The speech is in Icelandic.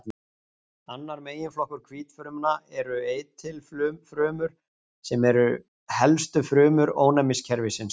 Annar meginflokkur hvítfrumna eru eitilfrumur sem eru helstu frumur ónæmiskerfisins.